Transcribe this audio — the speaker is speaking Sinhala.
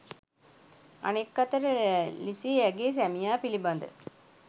අනෙක් අතට ලිසී ඇගේ සැමියා පිලිබද